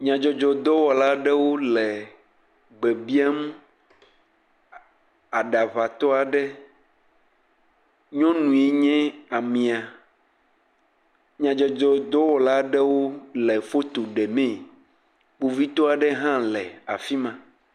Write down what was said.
Nyadzɔdzɔ dɔwɔla aɖewo le gbe biam aɖaŋatɔ aɖe, nyɔnue nye amea. Nyadzɔdzɔ dɔwɔlawo le foto ɖemee. Kpovitɔ aɖe hã afi ma.